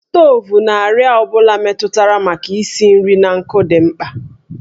Stovu na àrịá ọ bụla metụtara maka isi nri n'ọkụ dị mkpa